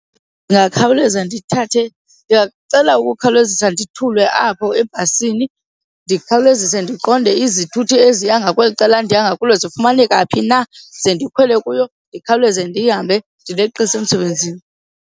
Ndingakhawuleza ndithathe, ndingacela ukukhawulezisa ndithulwe apho ebhasini. Ndikhawulezise ndiqonde izithuthi eziya ngakweli cala ndiya ngakulo zifumaneka phi na ze ndikhwele kuyo ndikhawuleze ndihambe ndileqise emsebenzini.